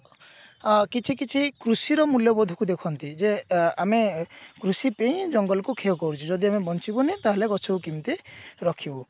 ଅ କିଛି କିଛି କୃଷି ର ମୂଲ୍ଯବୋଧ କୁ ଦେଖନ୍ତି ଯେ ଅ ଏ ଆମେ କୃଷି ପେଇଁ ଜଙ୍ଗଲ କୁ କ୍ଷୟ କରୁଛେ ଯଦି ଆମେ ବଞ୍ଚିବୁନି ତାହେଲେ ଗଛକୁ କେମତି ରଖିବୁ